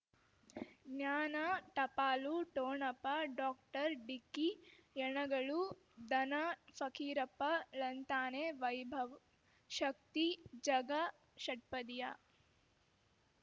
ಜ್ಞಾನ ಟಪಾಲು ಠೊಣಪ ಡಾಕ್ಟರ್ ಢಿಕ್ಕಿ ಯಣಗಳು ಧನ ಫಕೀರಪ್ಪ ಳಂತಾನೆ ವೈಭವ್ ಶಕ್ತಿ ಝಗಾ ಷಟ್ಪದಿಯ